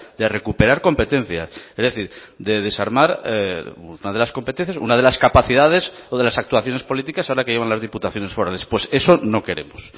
de recuperar competencias es decir de desarmar una de las competencias una de las capacidades o de las actuaciones políticas ahora que llevan las diputaciones forales pues eso no queremos